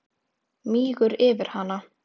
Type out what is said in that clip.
Mígur yfir hana.